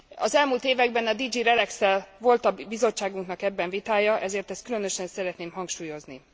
Az elmúlt években a DG Relex szel volt a bizottságunknak ebben vitája, ezért ezt különösen szeretném hangsúlyozni.